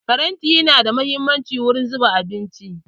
Faranti nada muhimmanci wurin zuba abinci.